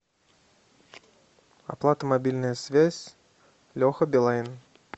оплата мобильная связь леха билайн